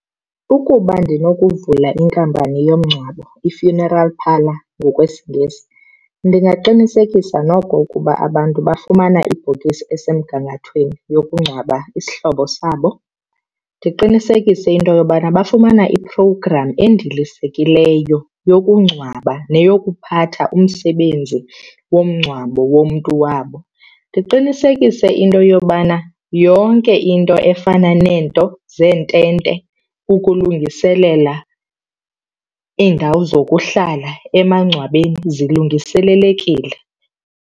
Ukuba ndinokuvula inkampani yomngcwabo, i-funeral parlour ngokwesiNgesi, ndingaqinisekisa noko ukuba abantu bafumana ibhokisi esemgangathweni yokungcwaba isihlobo sabo. Ndiqinisekise into yobana bafumana i-program endilisekileyo yokungcwaba neyokuphatha umsebenzi womngcwabo womntu wabo. Ndiqinisekise into yobana yonke into efana neento zeentente ukulungiselela iindawo zokuhlala emangcwabeni zilungiselelekile.